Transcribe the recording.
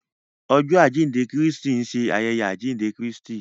Ọjọ ajinde Kristi nṣe ayẹyẹ ajinde Kristi.